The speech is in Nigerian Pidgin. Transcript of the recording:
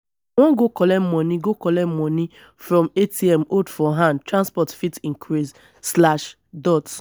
i wan go collect moni go collect moni from atm hold for hand transport fit increase.